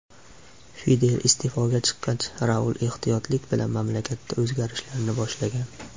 Fidel iste’foga chiqqach, Raul ehtiyotlik bilan mamlakatda o‘zgarishlarni boshlagan.